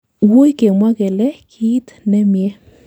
wuui kemwa kele kiit nemie